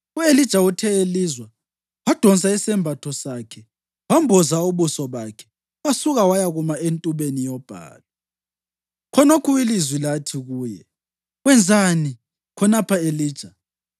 U-Elija uthe elizwa, wadonsa isembatho sakhe wamboza ubuso bakhe wasuka wayakuma entubeni yobhalu. Khonokho ilizwi lathi kuye, “Wenzani khonapha, Elija?”